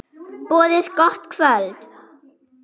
Boðið gott kvöld.